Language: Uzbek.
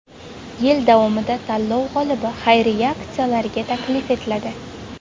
Yil davomida tanlov g‘olibi xayriya aksiyalariga taklif etiladi.